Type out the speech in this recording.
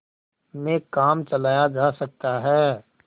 में काम चलाया जा सकता है